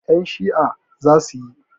Ƴan Shi'a zasu yi